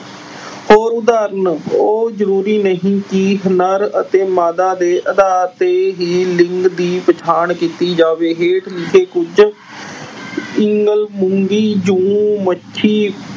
ਹੋਰ ਉਦਾਹਰਣ। ਉਹ ਜ਼ਰੂਰੀ ਨਹੀਂ ਕਿ ਨਰ ਅਤੇ ਮਾਦਾ ਦੇ ਆਧਾਰ ਤੇ ਹੀ ਲਿੰਗ ਦੀ ਪਛਾਣ ਕੀਤੀ ਜਾਵੇ। ਹੇਠ ਲਿਖੇ ਕੁਝ ਮੂੰਗੀ, ਜੂ, ਮੱਛੀ